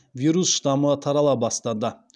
вирус штамы тарала бастады